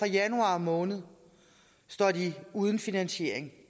januar måned står de uden finansiering